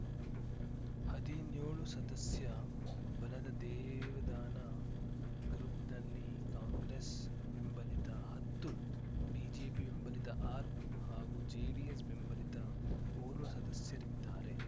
ಹದಿನ್ಯೋಳು ಸದಸ್ಯ ಬಲದ ದೇವದಾನ ಗ್ರೂಪ್ ನಲ್ಲಿ ಕಾಂಗ್ರೆಸ್‌ ಬೆಂಬಲಿತ ಹತ್ತು ಬಿಜೆಪಿ ಬೆಂಬಲಿತ ಆರು ಹಾಗೂ ಜೆಡಿಎಸ್‌ ಬೆಂಬಲಿತ ಓರ್ವ ಸದಸ್ಯರಿದ್ದಾರೆ